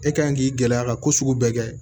E kan k'i gɛlɛya ka ko sugu bɛɛ kɛ